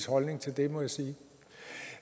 holdning til det må jeg sige